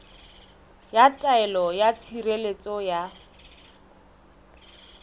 ya taelo ya tshireletso ya